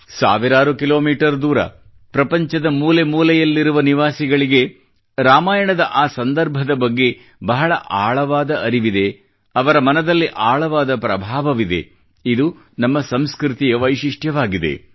ಸಾವಿರಾರು ಕಿಲೋಮೀಟರ್ ದೂರ ಪ್ರಪಂಚದ ಮೂಲೆ ಮೂಲೆಯಲ್ಲಿರುವ ನಿವಾಸಿಗಳಿಗೆ ರಾಮಾಯಣದ ಆ ಸಂದರ್ಭದ ಬಗ್ಗೆ ಬಹಳ ಆಳವಾದ ಅರಿವಿದೆ ಅವರ ಮನದಲ್ಲಿ ಆಳವಾದ ಪ್ರಭಾವವಿದೆ ಇದು ನಮ್ಮ ಸಂಸ್ಕೃತಿಯ ವೈಶಿಷ್ಠ್ಯವಾಗಿದೆ